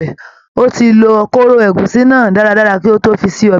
Ó ti lọ kóró ẹ̀gúsí náà dáadáa kí ó tó fi ṣe ọbẹ̀